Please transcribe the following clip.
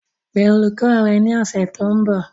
Pe olùkọ́ rẹ ní ọ̀sẹ̀ tó ń bọ̀